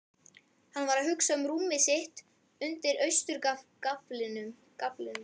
Hann var að hugsa um rúmið sitt undir austurgaflinum.